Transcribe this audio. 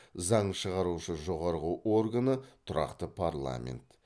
заң шығарушы жоғарғы органы тұрақты парламент